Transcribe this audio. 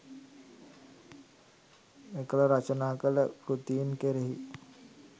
මෙකල රචනා කළ කෘතීන් කෙරෙහි